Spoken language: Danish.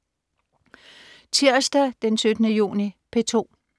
Tirsdag den 17. juni - P2: